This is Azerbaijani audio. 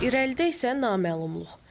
İrəlidə isə naməlumluq.